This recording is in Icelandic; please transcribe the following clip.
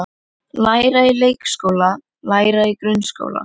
Læra í leikskóla Læra í grunnskóla